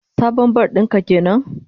Sabon bar din ka kenan?